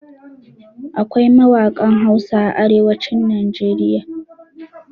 Akwai mawaƙan Hausa a arewacin Najeriya.